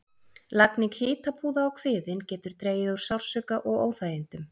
Lagning hitapúða á kviðinn getur dregið úr sársauka og óþægindum.